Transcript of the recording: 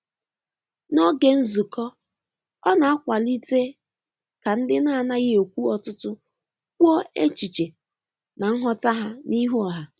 N'oge nzukọ,ọ na-akwalite ka ndị na-anaghị ekwu ọtụtụ kwuo echiche na nghọta ha n'ihu oha